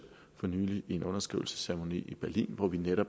for nylig i en underskrivelsesceremoni i berlin hvor